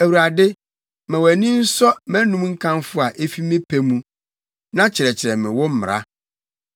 Awurade, ma wʼani nsɔ mʼanom nkamfo a efi me pɛ mu, na kyerɛkyerɛ me wo mmara.